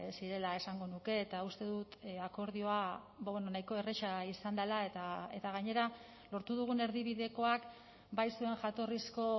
zirela esango nuke eta uste dut akordioa nahiko erraza izan dela eta gainera lortu dugun erdibidekoak bai zuen jatorrizko